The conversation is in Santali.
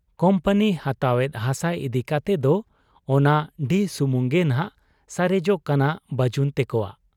ᱠᱩᱢᱯᱟᱱᱤ ᱦᱟᱛᱟᱣ ᱮᱫ ᱦᱟᱥᱟ ᱤᱫᱤ ᱠᱟᱛᱮᱫ ᱫᱚ ᱚᱱᱟ ᱰᱤᱦᱚ ᱥᱩᱢᱩᱝ ᱜᱮᱱᱷᱟᱜ ᱥᱟᱨᱮᱡᱚᱜ ᱠᱟᱱᱟ ᱵᱟᱹᱡᱩᱱ ᱛᱮᱠᱚᱣᱟᱜ ᱾